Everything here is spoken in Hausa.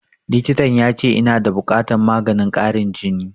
Likitan ya ce ina da buƙatan maganin ƙarin jini